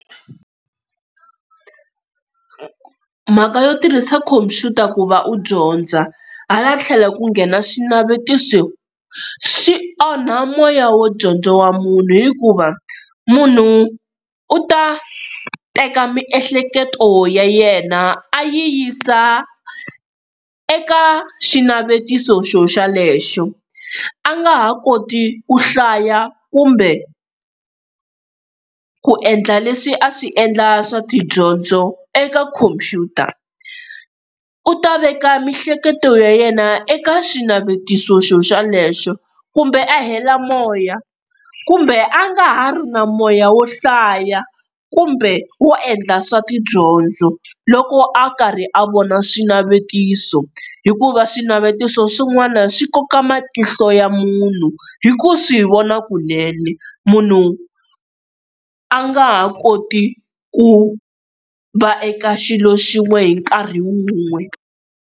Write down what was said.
Mhaka yo tirhisa khomphyuta ku va u dyondza, hala tlhelo ku nghena swinavetiso swi onha moya wo dyondza wa munhu hikuva munhu u ta teka miehleketo ya yena a yi yisa eka xinavetiso xo xelexo a nga ha koti ku hlaya kumbe ku endla leswi a swi endla swa tidyondzo eka khompyuta, u ta veka miehleketo ya yena eka xinavetiso xo xolexo, kumbe a hela moya, kumbe a nga ha ri na moya wo hlaya kumbe wo endla swa tidyondzo loko a karhi a vona swinavetiso, hikuva swinavetiso swin'wana swi koka matihlo ya munhu, hi ku swi vona kunene munhu a nga ha koti ku va eka xilo xin'we hi nkarhi wun'we.